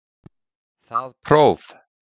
Það próf